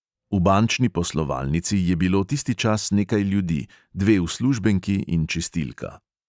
V bančni poslovalnici je bilo tisti čas nekaj ljudi, dve uslužbenki in čistilka.